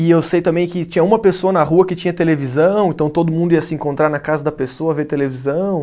E eu sei também que tinha uma pessoa na rua que tinha televisão, então todo mundo ia se encontrar na casa da pessoa, ver televisão.